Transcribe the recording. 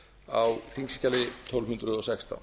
á þingskjali tólf hundruð og sextán